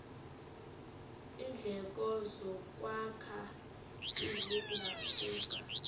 iindleko zokwakha zingasuka